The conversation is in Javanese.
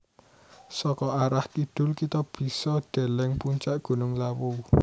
Saka arah kidul kita bisa deleng puncak gunung Lawu